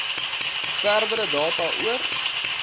verdere data oor